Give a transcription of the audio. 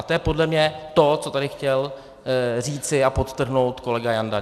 A to je podle mě to, co tady chtěl říci a podtrhnout kolega Janda.